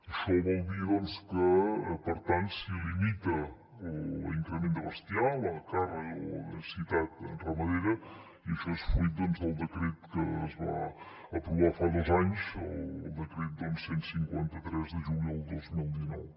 això vol dir doncs que per tant s’hi limita l’increment de bestiar la càrrega o densitat ramadera i això és fruit del decret que es va aprovar fa dos anys el decret cent i cinquanta tres de juliol del dos mil dinou